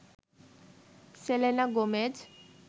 Selena Gomez